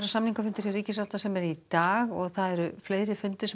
samningafundur hjá ríkissáttasemjara í dag og fleiri fundir